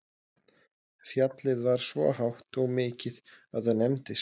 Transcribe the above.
Fjallið var svo hátt og mikið að það nefndist